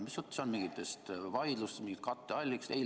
Mis jutt see on mingitest vaidlustest, mingitest katteallikatest?